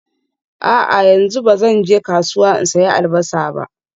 A'a, yanzu ba zan je kasuwa in sayi Albasa ba